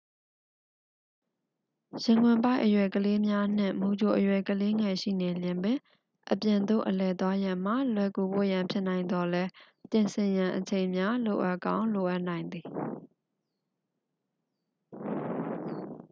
ရင်ခွင်ပိုက်အရွယ်ကလေးငယ်များနှင့် မူကြိုအရွယ် ကလေးငယ်ရှိနေလျှင်ပင် အပြင်သို့အလည်သွားရန်မှာ လွယ်ကူဖို့ရန်ဖြစ်နိုင်သော်လည်း ပြင်ဆင်ရန်အချိန်များ လိုအပ်ကောင်းလိုအပ်နိုင်သည်